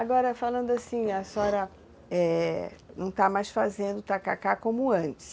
Agora, falando assim, a senhora não está mais fazendo o tacacá como antes.